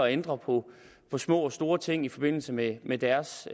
ændre på små og store ting i forbindelse med med deres